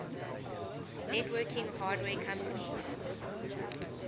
networking hardware companies